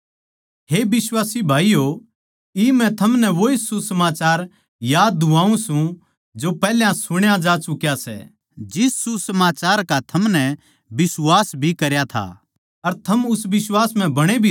हे बिश्वासी भाईयो इब मै थमनै वोए सुसमाचार याद दिवाऊँ सूं जो पैहल्या सुण्या जा चुक्या सै जिस सुसमाचार का थमनै बिश्वास भी करया था अर थम उस बिश्वास म्ह बणे भी रहो